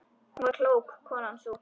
Hún var klók, konan sú.